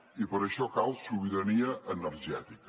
i per això cal sobirania energètica